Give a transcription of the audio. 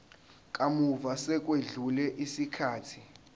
kamuva sekwedlule isikhathi